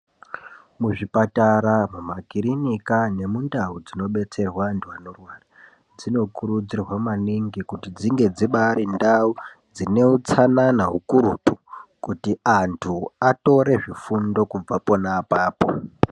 Muzvipatara mumakirinika nemundau dzinobetserwa antu anorwara dzinokurudzirwa maningi kuti dzinge dzibari ndau dzine utsanana ukurutu kuti antu atore zvifundo kubva pona apapo.